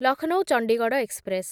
Lucknow Chandigarh express